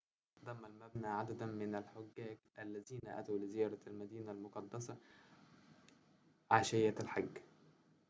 ضم المبنى عدداً من الحجاج الذين أتوا لزيارة المدينة المقدسة عشية الحج